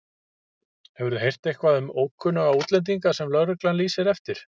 Hefurðu heyrt eitthvað um ókunnuga útlendinga sem lögreglan lýsir eftir?